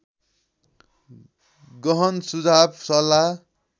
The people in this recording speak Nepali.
गहन सुझाव सल्लाह